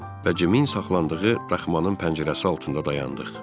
Və Cimin saxlandığı daxmanın pəncərəsi altında dayandıq.